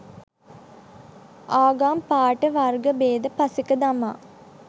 ආගම් පාට වර්ග බේද පසෙක දමා